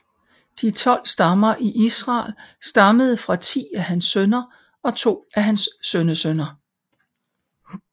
De tolv stammer i Israel stammede fra ti af hans sønner og to af hans sønnesønner